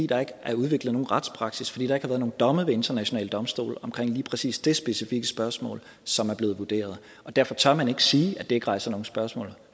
der ikke er udviklet nogen retspraksis fordi der ikke har været nogen domme ved internationale domstole omkring lige præcis det specifikke spørgsmål som er blevet vurderet og derfor tør man ikke sige at det ikke rejser nogen spørgsmål